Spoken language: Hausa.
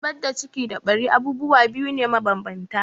Zubar da ciki da ɓari abubuwa biyu ne mabanbanta.